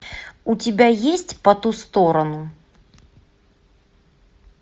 у тебя есть по ту сторону